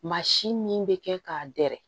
Maa si min bɛ kɛ k'a dɛrɛ